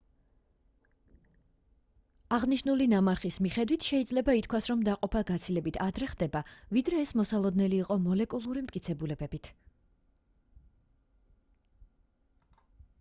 აღნიშნული ნამარხის მიხედვით შეიძლება ითქვას რომ დაყოფა გაცილებით ადრე ხდება ვიდრე ეს მოსალოდნელი იყო მოლეკულური მტკიცებულებებით